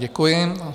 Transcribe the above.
Děkuji.